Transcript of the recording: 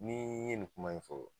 Ni ye nin kuma in fɔ